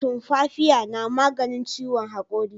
Tumfafiya na maganin ciwon hakuri